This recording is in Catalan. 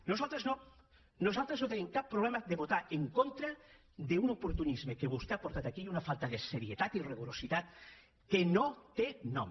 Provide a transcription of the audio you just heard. nosaltres no nosaltres no tenim cap problema de votar en contra d’un oportunisme que vostè ha portat aquí i una falta de serietat i rigor que no té nom